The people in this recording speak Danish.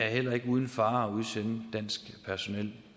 heller ikke er uden fare at udsende dansk personel